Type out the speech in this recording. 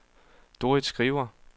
Dorrit Skriver